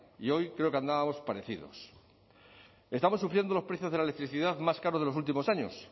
y hoy creo que andábamos parecidos estamos sufriendo los precios de la electricidad más caros de los últimos años